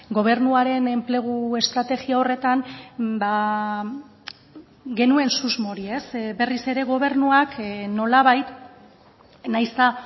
gobernuaren enplegu estrategia horretan genuen susmo hori berriz ere gobernuak nolabait nahiz eta